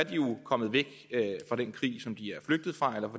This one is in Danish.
jo kommet væk fra den krig som de er flygtet fra eller